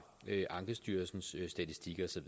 ankestyrelsens statistik og